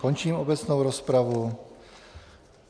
Končím obecnou rozpravu.